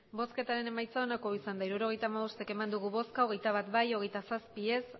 emandako botoak hirurogeita hamabost bai hogeita bat ez